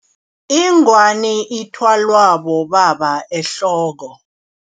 Ingwani ithwalwa bobaba ehloko.